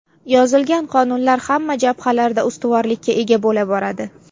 Yozilgan qonunlar hamma jabhalarda ustuvorlikka ega bo‘la boradi.